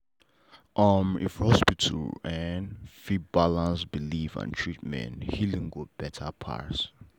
uhmm if hospital en fit balance belief and treatment healing go better pass.